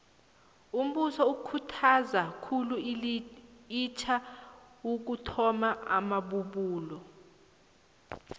umbuso ukhuthaza khulu itja ekuthomeni amabubulo